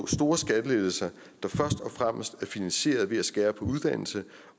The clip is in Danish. store skattelettelser der først og fremmes er finansieret ved at skære på uddannelse